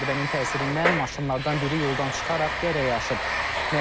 Zərbənin təsirindən maşınlardan biri yoldan çıxaraq dərəyə aşıb.